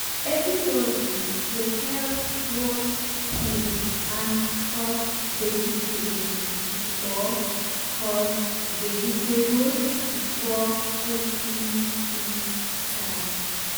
everybody dey help wash peel and cut vegetable before cut vegetable before cooking fit start.